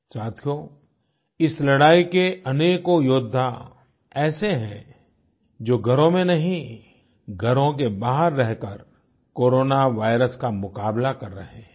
साथियों इस लड़ाई के अनेकों योद्धा ऐसे हैं जो घरों में नहीं घरों के बाहर रहकर कोरोना वायरस का मुकाबला कर रहे हैं